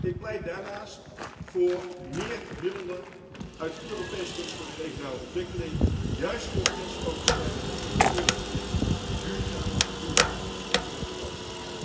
Ik pleit daarnaast voor meer middelen uit het Europees Fonds voor regionale ontwikkeling, juist voor grensoverschrijdende investeringsprojecten in duurzame vervoersinfrastructuur in Europa.